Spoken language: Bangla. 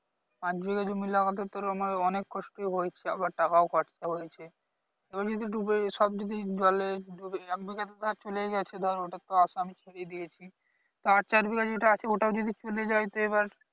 পাঁচ বিঘা জমি লাগাতে তোর আমার অনেক কষ্টই হয়েছে আবার টাকাও খরচা হয়েছে এবার যদি ডুবে সব যদি জলে ডুবে এক বিঘা তো চলেই গেছে ধর ওটার তো আশা আমি ছেড়েই দিয়েছি তা আর চার বিঘা যেটা আছে ওটাও যদি চলে যাই তো এবার